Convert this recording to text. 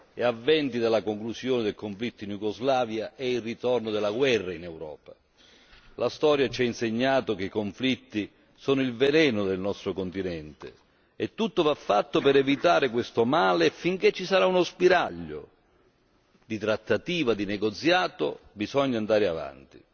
e a venti dalla conclusione del conflitto in Iugoslavia, è il ritorno della guerra in Europa. La storia ci ha insegnato che i conflitti sono il veleno del nostro continente e tutto va fatto per evitare questo male. Finché ci sarà uno spiraglio di trattativa e di negoziato bisogna andare avanti.